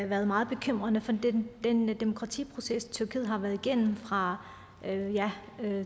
været meget bekymrende for den demokratiproces tyrkiet har været igennem fra